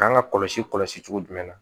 K'an ka kɔlɔsi kɔlɔsi cogo jumɛn na